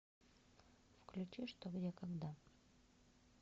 включи что где когда